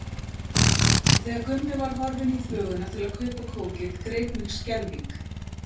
Og þegar Gummi var horfinn í þvöguna til að kaupa kókið greip mig skelfing.